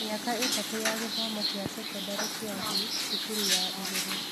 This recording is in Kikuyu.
Mĩaka ĩtatũ ya gĩthomo kĩa sekondarĩ kĩa thĩ (cukuru ya igũrũ)